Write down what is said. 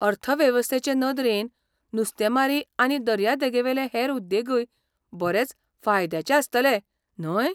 अर्थवेवस्थेचे नदरेन, नुस्तेंमारी आनी दर्यादेगेवेले हेर उद्देगूय बरेच फायद्याचे आसतले, न्हय?